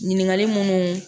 Ɲininkali minnu